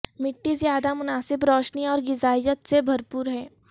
مٹی زیادہ مناسب روشنی اور غذائیت سے بھرپور ہے